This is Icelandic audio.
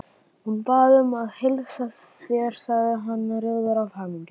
Hún bað að heilsa þér sagði hann rjóður af hamingju.